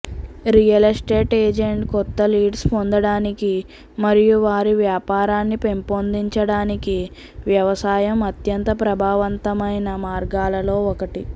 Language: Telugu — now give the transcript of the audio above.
రియల్ ఎస్టేట్ ఎజెంట్ కొత్త లీడ్స్ పొందడానికి మరియు వారి వ్యాపారాన్ని పెంపొందించడానికి వ్యవసాయం అత్యంత ప్రభావవంతమైన మార్గాలలో ఒకటి